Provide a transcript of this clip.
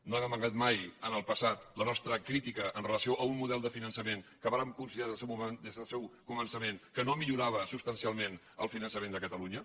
no hem amagat mai en el passat la nostra crítica amb relació a un model de finançament que vàrem considerar des del seu començament que no millorava substancialment el finançament de catalunya